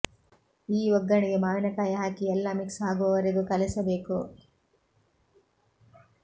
ಈ ಒಗ್ಗರಣೆಗೆ ಮಾವಿನ ಕಾಯಿ ಹಾಕಿ ಎಲ್ಲ ಮಿಕ್ಸ್ ಆಗುವವರೆಗೂ ಕಲೆಸಬೇಕು